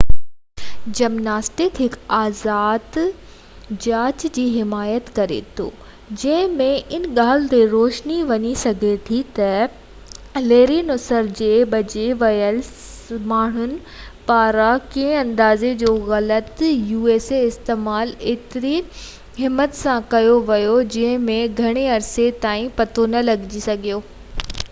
usa gymnastics هڪ آزاد جاچ جي حمايت ڪري ٿو جنهن ۾ ان ڳالهہ تي روشني وجهي سگهجي ٿي تہ ليري نصر جي بچي ويل ماڻهن پاران ڪيئن اندازي جو غلط استعمال ايتري همت سان ڪيو ويو جنهن جو گهڻي عرصي تائين پتو نہ لڳي سگهيو ۽ ڪي بہ ضروري ۽ مناسب تبديلين کي قبول ڪري ٿي سگهيا